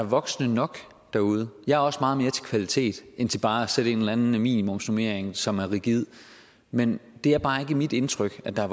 voksne nok derude jeg er også meget mere til kvalitet end til bare at sætte en eller anden minimumsnormering som er rigid men det er bare ikke mit indtryk at der